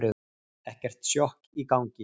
Ekkert sjokk í gangi.